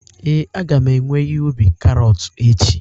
ee, a ga m ewe ihe ubi karọt echi